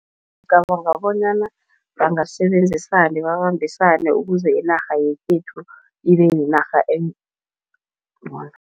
Ngicabanga bonyana bangasebenzisana, babambisane ukuze inarha yekhethu ibe yinarha encono.